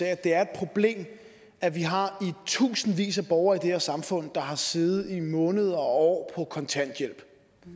at det er et problem at vi har i tusindvis af borgere i det her samfund der har siddet i måneder og år på kontanthjælp